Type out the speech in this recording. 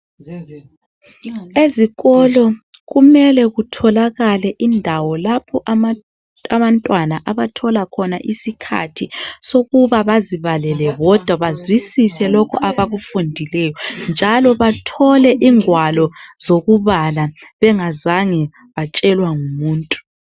Ezikolo kumele kutholakale indawo lapho abantwana abathola khona isikhathi sokuba bazibalele bodwa bazwisise lokhu abakufundileyo .Njalo bathole ingwalo zokubala bengazange batshelwa ngumuntu .